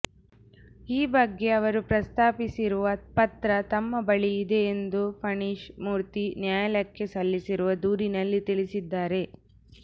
ಈ ಬಗ್ಗೆ ಅವರು ಪ್ರಸ್ತಾಪಿಸಿರುವ ಪತ್ರ ತಮ್ಮ ಬಳಿ ಇದೆ ಎಂದು ಫಣೀಶ್ ಮೂರ್ತಿ ನ್ಯಾಯಾಲಯಕ್ಕೆ ಸಲ್ಲಿಸಿರುವ ದೂರಿನಲ್ಲಿ ತಿಳಿಸಿದ್ದಾರೆ